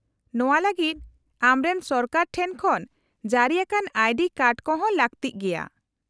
-ᱱᱚᱶᱟ ᱞᱟᱹᱜᱤᱫ ᱟᱢᱨᱮᱱ ᱥᱚᱨᱠᱟᱨ ᱴᱷᱮᱱ ᱠᱷᱚᱱ ᱡᱟᱹᱨᱤ ᱟᱠᱟᱱ ᱟᱭᱰᱤ ᱠᱟᱨᱰ ᱠᱚ ᱦᱚᱸ ᱞᱟᱹᱠᱛᱤᱜ ᱜᱮᱭᱟ ᱾